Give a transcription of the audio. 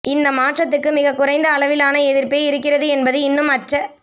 இந்த மாற்றத்துக்கு மிகக்குறைந்த அளவிலான எதிர்ப்பே இருக்கிறது என்பது இன்னும் அச்ச